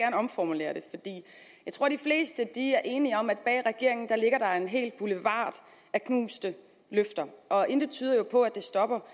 jeg omformulere det jeg tror de fleste er enige om at bag regeringen ligger der en hel boulevard af knuste løfter og intet tyder jo på at det stopper